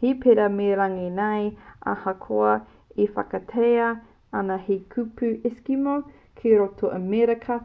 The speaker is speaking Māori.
he pērā me runga nei ahakoa e whakaaetia ana te kupu eskimo ki roto o amerika